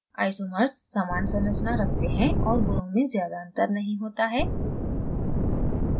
isomers समान संरचना रखते हैं और गुणों में ज़्यादा अंतर नहीं होता है